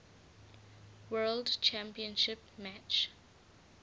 world championship match